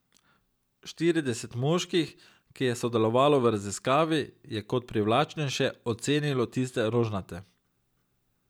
Štirideset moških, ki je sodelovalo v raziskavi, je kot privlačnejše ocenilo tiste rožnate.